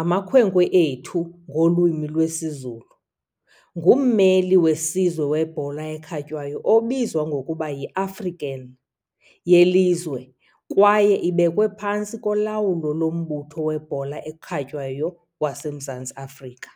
"amakhwenkwe ethu" ngolwimi lwesiZulu, ngummeli wesizwe webhola ekhatywayo obizwa ngokuba yi -African yelizwe kwaye ibekwe phantsi kolawulo loMbutho weBhola eKhatywayo waseMzantsi Afrika.